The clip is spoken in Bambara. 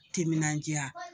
Timinandiya